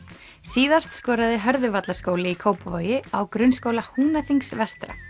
síðast skoraði í Kópavogi á Grunnskóla Húnaþings vestra